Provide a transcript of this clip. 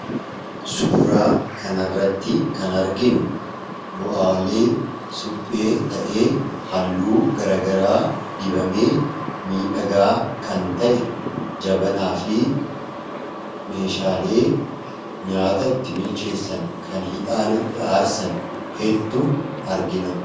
suuraa kanaarratti kan arginu bu'aalee suphee ta'ee halluu garagaraa dibamee miidhagaa kan ta'e jabanaa fi meeshaalee nyaata itti bilcheessan kan hixaana itti aarsan hedduu argina.